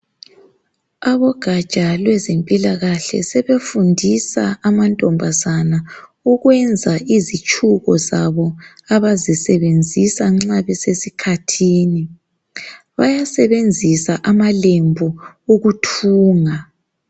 Abogatsha lwezempilakahle sebefundisa amantombazane ukwenza izitshubo zabo abazisebenzisa nxa besesikhathini. Bayasebenzisa amalembu ukuthunga.